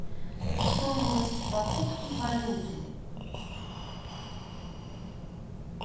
стоимость покупки валюты